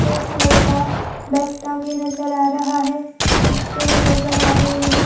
एक लड़का बैग टाँगे नजर आ रहा है कुछ पेड़ नजर आ रहे है ।